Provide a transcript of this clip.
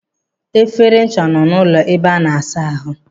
Efere ncha nọ n'ọnụ ụlọ ebe a na-asa ahụ.